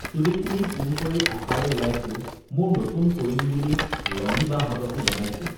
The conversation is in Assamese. চুলি খিনি পোন কৰি আশাৰে ওলাইছো মোৰ নতুন কৰিম বুলি লনি বাহতঁকো জনাইছো